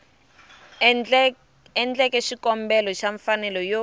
endleke xikombelo xa mfanelo yo